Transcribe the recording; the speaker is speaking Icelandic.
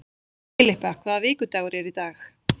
Filippa, hvaða vikudagur er í dag?